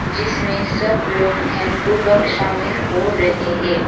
जिसमें सब लोग ध्यानपूर्वक शामिल हो रहे है।